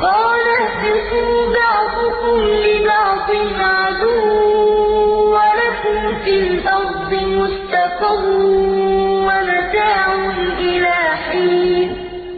قَالَ اهْبِطُوا بَعْضُكُمْ لِبَعْضٍ عَدُوٌّ ۖ وَلَكُمْ فِي الْأَرْضِ مُسْتَقَرٌّ وَمَتَاعٌ إِلَىٰ حِينٍ